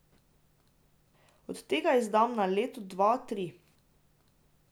Od tega izdamo na leto dva, tri.